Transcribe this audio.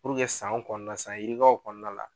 Puruke sanw kɔnɔna la san yirikaw kɔnɔna la